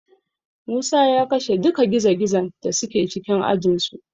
Musa ya kashe duka gizogizon da suke cikin ajinsu.